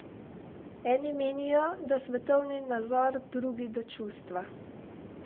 Eni menijo, da svetovni nazor, drugi, da čustva.